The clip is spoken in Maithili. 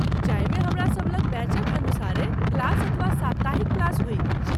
जाहिमे हमरा सभ लग बैचक अनुसारेँ क्लास अथवा साप्ताहिक क्लास होइत अछि।